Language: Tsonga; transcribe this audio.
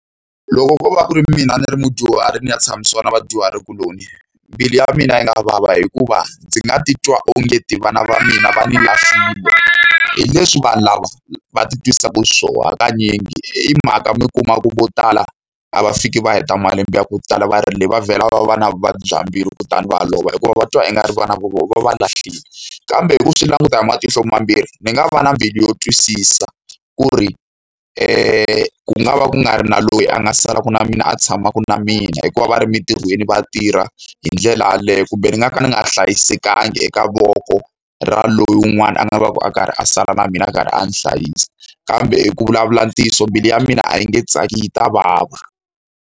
Loko ko va ku ri mina ni ri mudyuhari ni ya tshamisiwa na vadyuhari kuloni, mbilu ya mina yi nga vava hikuva ndzi nga titwa ongeti vana va mina va ni lahlile. Hi leswi vanhu lava va ti twisaka xiswona hakanyingi. Hi mhaka mi kuma ku vo tala a va fiki va heta malembe ya ku tala va le, va vhela va va na vuvabyi bya mbilu kutani va lova hikuva va twa ingari va na vona va va lahlile. Kambe hi ku swi languta hi matihlo mambirhi, ndzi nga va na mbilu yo twisisa ku ri ku nga va ku nga ri na loyi a nga salaka na mina, a tshamaka na mina hikuva va ri emintirhweni va tirha hi ndlela yaleyo. Kumbe ni nga ka ndzi nga hlayisekanga eka voko ra loyi wun'wana a nga va ka a karhi a sala na mina, a karhi a ni hlayisa. Kambe ku vulavula ntiyiso mbilu ya mina a yi nge tsaki yi ta vava.